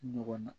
Ɲɔgɔn na